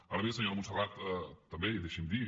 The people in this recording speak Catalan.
ara bé senyora montserrat també i deixi’m dir